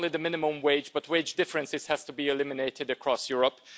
Not only the minimum wage but wage differences have to be eliminated across Europe